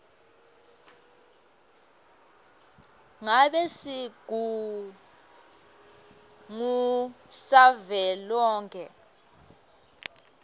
ngabe sigungu savelonkhe